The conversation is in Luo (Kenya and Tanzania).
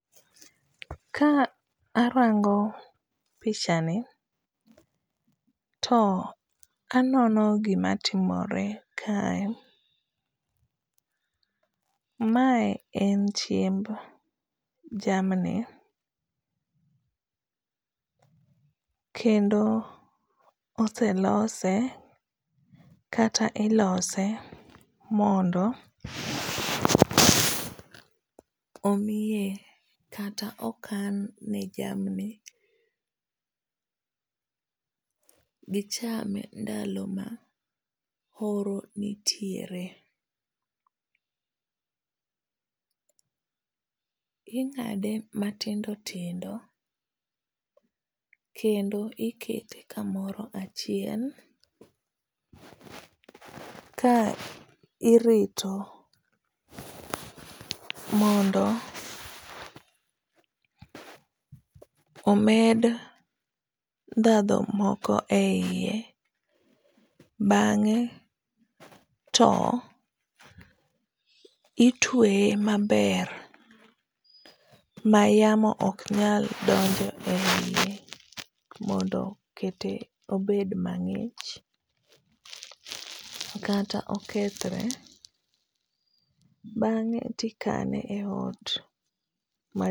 Ka arango pichani to anono gima timore kae. Mae en chiemb jamni, kendo oselose, kata ilose mondo omiye kata okan ne jamni gicham ndalo ma oro nitiere. Ingáde matindo tindo kendo ikete kamoro achiel ka irito mondo omed ndhadhu moko e iye. Bangé to itweye maber mayamo ok nyal donjo e iye, mondo okete obed mangích. Kata okethore. Bangé to ikane e ot.